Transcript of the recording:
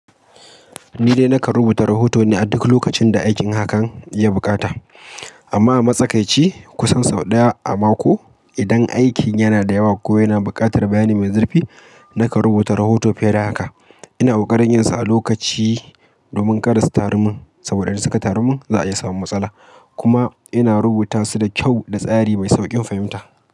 Ni dai na karɓu ta rahoto ne a duk lokacin da aikin hakan ya buƙata, amma a matsakaici kusan sau ɗaya a mako. Idan aikin yana da yawa ko yana buƙatar bayani mai zurfi, na kan rubuta rahoto fiye da haka. Ina ƙoƙarin yinsa a lokaci domin kada su taru mun saboda in suka taru mun za a iya samun matsala. Kuma ina rubuta su da kyau da tsari mai sauƙin fahimta.